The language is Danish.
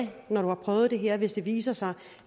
når du har prøvet det her og hvis det viser sig